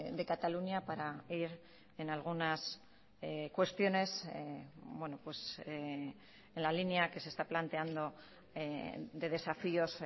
de cataluña para ir en algunas cuestiones en la línea que se está planteando de desafíos